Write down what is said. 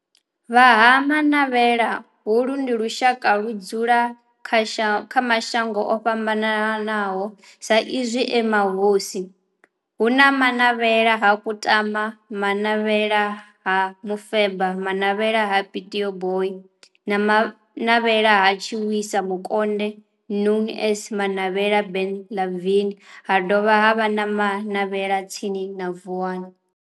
Vha Ha-Manavhela holu ndi lushaka ludzula kha mashango ofhambanaho sa izwi e mahosi hu na Manavhela ha Kutama, Manavhela ha Mufeba, Manavhela ha Pietboi na Manavhela ha Tshiwisa Mukonde known as Manavhela Benlavin ha dovha havha na Manavhela tsini na Vuwani.